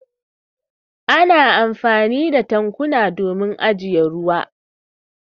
Ana amfani da tankuna domin ajiye ruwa.